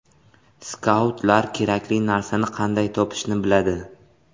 Skautlar kerakli narsani qanday topishni biladi.